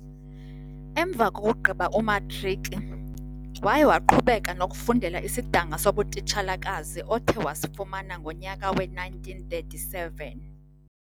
Emva kokugqiba umatriki, waye waqhubeka nokufundela isidanga sobutitshalakazi othe wasifumana ngonyaka we 1937.